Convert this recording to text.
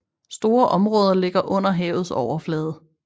Store områder ligger under havets overflade